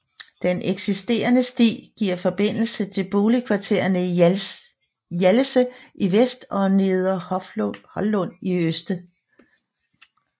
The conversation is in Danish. En eksisterende sti giver forbindelse til boligkvarterne Hjallese i vest og Neder Holluf i øst